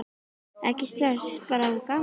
Ekkert stress, bara hafa gaman!